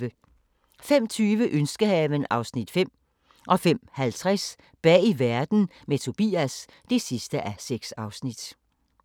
05:20: Ønskehaven (Afs. 5) 05:50: Bag verden – med Tobias (6:6)